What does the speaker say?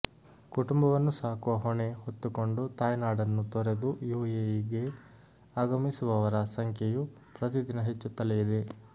ಕುಟುಂಬವನ್ನು ಸಾಕುವ ಹೊಣೆ ಹೊತ್ತುಕೊಂಡು ತಾಯ್ನಡನ್ನು ತೊರೆದು ಯುಎಇಗೆ ಆಗಮಿಸುವವರ ಸಂಖ್ಯೆಯು ಪ್ರತಿದಿನ ಹೆಚ್ಚುತ್ತಲೇ ಇದೆ